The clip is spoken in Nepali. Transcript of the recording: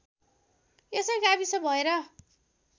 यसै गाविस भएर